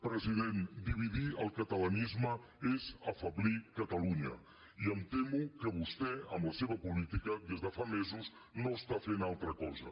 president dividir el catalanisme és afeblir catalunya i em temo que vostè amb la seva política des de fa mesos no està fent altra cosa